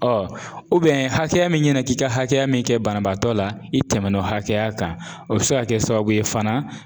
Ɔ hakɛya min ɲɛna k'i ka hakɛya min kɛ banabaatɔ la i tɛmɛn'o hakɛya kan o bɛ se ka kɛ sababu ye fana